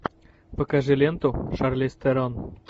покажи ленту шарлиз терон